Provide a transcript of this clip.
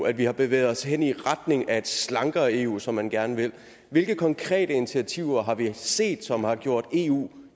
at vi har bevæget os hen i retning af et slankere eu som man gerne vil hvilke konkrete initiativer har vi set som har gjort eu